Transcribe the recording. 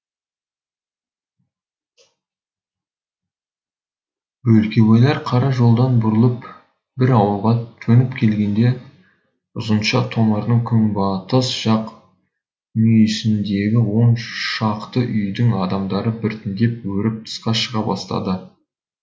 бөлкебайлар қара жолдан бұрылып бір ауылға төніп келгенде ұзынша томардың күнбатыс жақ мүйісіндегі он шақты үйдің адамдары біртіндеп өріп тысқа шыға бастады